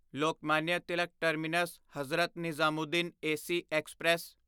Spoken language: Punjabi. Lokmanya Tilak terminus Hazrat Nizamuddin AC express